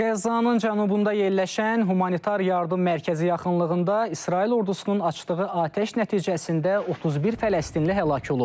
Qəzzanın cənubunda yerləşən humanitar yardım mərkəzi yaxınlığında İsrail ordusunun açdığı atəş nəticəsində 31 Fələstinli həlak olub.